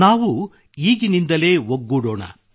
ನಾವು ಈಗಿನಿಂದಲೇ ಒಗ್ಗೂಡೋಣ